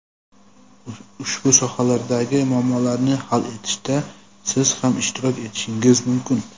Ushbu sohalardagi muammolarni hal etishda siz ham ishtirok etishingiz mumkin!.